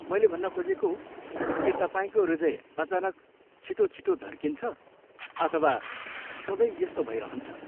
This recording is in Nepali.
मैले भन्न खोजेको, के तपाईँको हृदय अचानक छिटो छिटो धड्किन्छ अथवा सधैँ यस्तो भइरहन्छ?